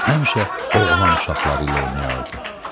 Həmişə oğlan uşaqları ilə oynayardı.